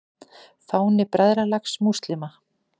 Fáni Bræðralags múslíma.